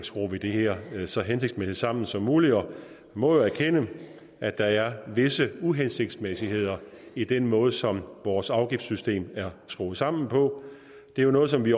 skruer det her så hensigtsmæssigt sammen som muligt og vi må jo erkende at der er visse uhensigtsmæssigheder i den måde som vores afgiftssystem er skruet sammen på det er noget som vi